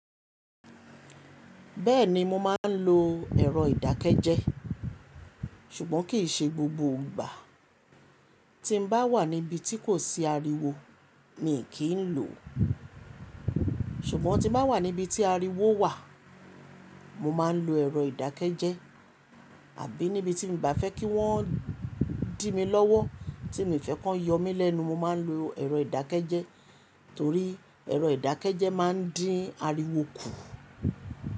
Bẹ́ẹ̀ni mo máa ń lo ẹ̀rọ ìdákẹ́jẹ́ sùgbọ́n kì í ṣe gbogbo ìgbà. Tí n bá wà níbi tí kò sí ariwo mi kì í lò ó. Ṣùgbọ́n tí mo bá wà níbi tí ariwo wà mo máa ń lo ẹ̀rọ ìdákẹ́jẹ́. Tabí níbi tí mi n bá fẹ́ kí wọ́n dìmi lọ́wọ́, tí mi o fẹ́ kọ́ yọ mí lẹ́nu mo máa ń lo ẹ̀rọ ìdákẹ́jẹ́ torí ẹ̀rọ ìdákẹ́jẹ́ máa ń dín ariwo kù.